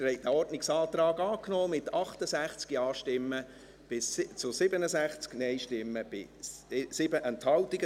Sie haben diesen Ordnungsantrag angenommen, mit 68 Ja- gegen 67 Nein-Stimmen bei 7 Enthaltungen.